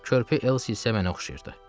Körpə Elsi isə mənə oxşayırdı.